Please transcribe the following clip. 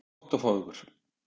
Það verður gott að fá ykkur.